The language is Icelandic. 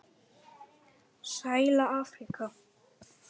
Sæla Afríka!